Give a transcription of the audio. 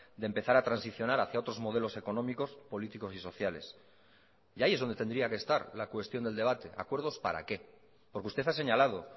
de empezar a transicionar hacia otros modelos económicos políticos y sociales y ahí es donde tendría que estar la cuestión del debate acuerdos para qué porque usted ha señalado